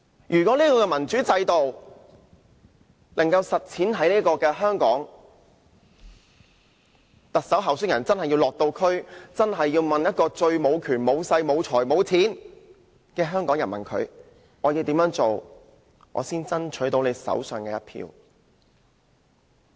如果這個民主制度可在香港實踐，特首候選人便要落區問那個最無權、無勢、無財無錢的香港人，要怎樣才能爭取其手上的一票。